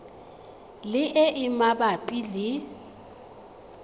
le e e mabapi le